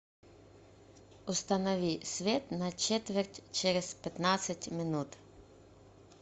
установи свет на четверть через пятнадцать минут